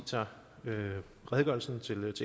tager redegørelsen til